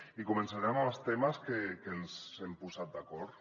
i començarem amb els temes en què ens hem posat d’acord